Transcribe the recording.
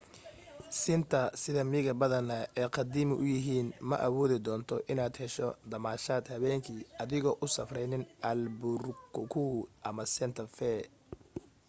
siinta sida miiga badanaa ay qadiimi u yahiin ma awoodi doonto in aad hesho damaashad habeen kii adigoo u safreyn albuquerque ama santa fe